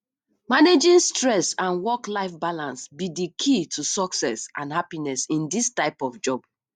managing stress and worklife balance be di key to success and happiness in dis type of job